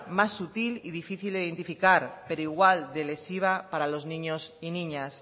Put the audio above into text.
más sutil y difícil de identificar pero igual de lesiva para los niños y niñas